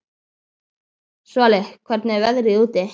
Svali, hvernig er veðrið úti?